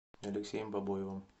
алексеем бобоевым